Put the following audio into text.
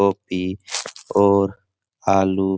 गोभी और आलू --